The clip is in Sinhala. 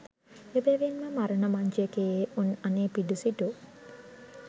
එබැවින්ම මරණ මංචකයේ උන් අනේපිඩු සිටු